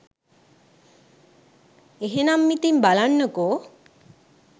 එහෙනම් ඉතින් බලන්නකො